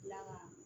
Kila ka